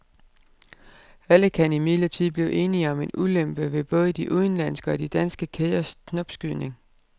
Alle kan imidlertid blive enige om en ulempe ved både de udenlandske og de danske kæders knopskydning.